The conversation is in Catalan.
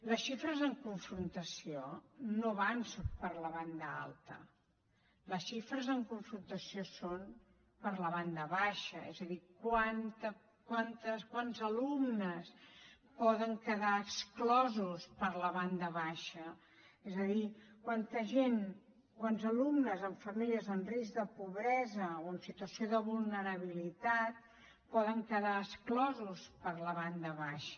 les xifres en confrontació no van per la banda alta les xifres en confrontació són per a la banda baixa és a dir quants alumnes poden quedar exclosos per la banda baixa és a dir quanta gent quants alumnes en famílies en risc de pobresa o en situació de vulnerabilitat poden quedar exclosos per la banda baixa